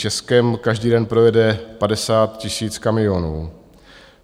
Českem každý den projede 50 000 kamionů.